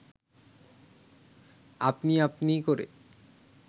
আপনি আপনি করে